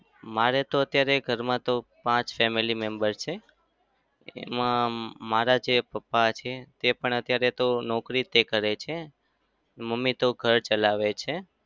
મારે તો અત્યારે ઘરમાં તો પાંચ family members છે. એમાં મારા જે પપ્પા છે તે પણ અત્યારે તો નોકરી જ કરે છે. મમ્મી તો ઘર ચલાવે છે.